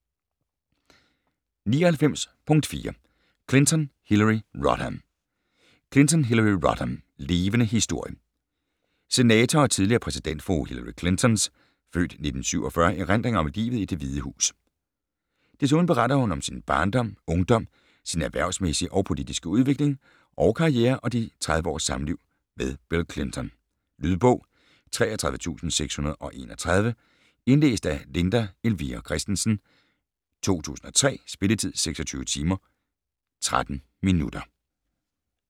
99.4 Clinton, Hillary Rodham Clinton, Hillary Rodham: Levende historie Senator og tidligere præsidentfrue Hillary Clinton's (f. 1947) erindringer om livet i Det Hvide Hus. Desuden beretter hun om sin barndom, ungdom, sin erhvervsmæssige og politiske udvikling og karriere og de 30 års samliv med Bill Clinton. Lydbog 33631 Indlæst af Linda Elvira Kristensen, 2003. Spilletid: 26 timer, 13 minutter.